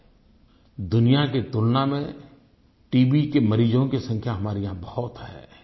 लेकिन दुनिया की तुलना में टीबी के मरीजों की संख्या बहुत है